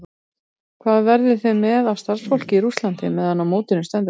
Hvað verðið þið með af starfsfólki í Rússlandi meðan á mótinu stendur?